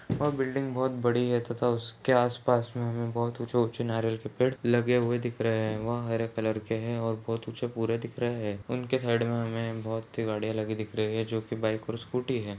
-- और बिल्डिंग बहुत बड़ी है तथा उसके आसपास में हमें बहुत ऊंचे -ऊंचे नारियल के पेड़ लगे हुए दिख रहै है वह हरे कलर के है और बहुत ऊंचे पूरा दिख रहा है उनके साइड में हमें बहुत -सी गाड़ियां लगी दिख रही है जोकि बाइक और स्कूटी है।